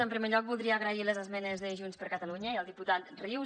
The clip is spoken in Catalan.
en primer lloc voldria agrair les esmenes de junts per catalunya i el diputat rius